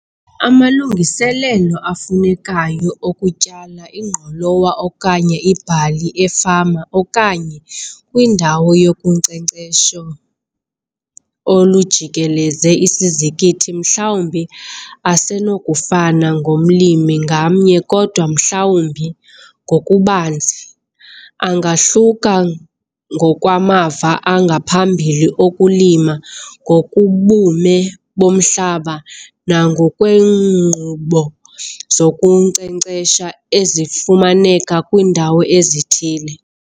Amalungiselelo afunekayo okutyala ingqolowa okanye ibhali efama okanye kwindawo yokunkcenkcesho olujikeleze isizikithi mhlawumbi asenokufana ngomlimi ngamnye kodwa mhlawumbi, ngokubanzi, angahluka ngokwamava angaphambili okulima ngokobume bomhlaba nangokweenkqubo zokunkcenkcesha ezifumaneka kwiindawo ezithile.